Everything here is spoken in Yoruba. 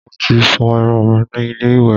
Mo ti fọ irun mi ní ilé ìwẹ̀